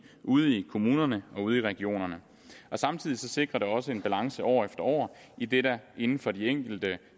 ude i kommunerne og regionerne samtidig sikrer det også en balance år efter år idet der inden for de enkelte